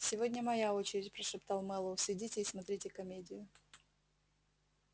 сегодня моя очередь прошептал мэллоу сидите и смотрите комедию